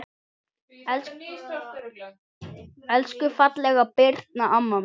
Elsku fallega Birna amma mín.